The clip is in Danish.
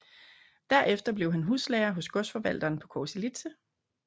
Derefter blev han huslærer hos godsforvalteren på Korselitse